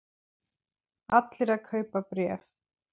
Allir að kaupa bréf